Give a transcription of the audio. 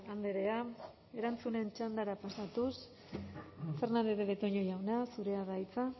andrea erantzunen txandara pasatuz fernandez de betoño jauna zurea da hitza